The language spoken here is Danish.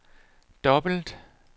dobbelt